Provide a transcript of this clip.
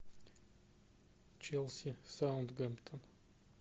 челси саутгемптон